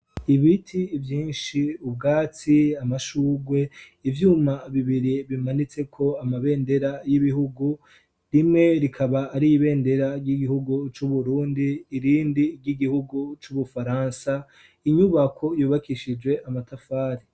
Ibiti vyinshi ubwatsi amashugwe ibyuma bibiri bimanitse ko amabendera y'ibihugu rimwe rikaba ari ibendera ry'igihugu c'uburundi irindi ry'igihugu c'ubufaransa, inyubako yubakishije amatafari.